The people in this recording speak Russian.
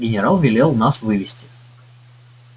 генерал велел нас вывести